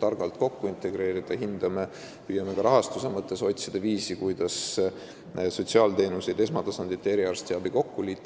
targalt integreerida, siis me püüame ka rahastuse mõttes otsida viisi, kuidas sotsiaalteenuseid, esmatasandit ja eriarstiabi kokku liita.